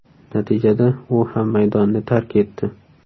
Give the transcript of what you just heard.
Natijada u ham maydonni tark etdi.